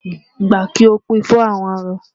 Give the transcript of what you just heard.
Gba! Kí o pín in fún àwọn arọ.